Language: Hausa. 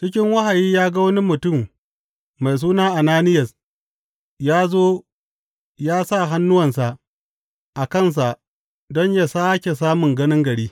Cikin wahayi ya ga wani mutum mai suna Ananiyas ya zo ya sa hannuwansa a kansa don yă sāke samun ganin gari.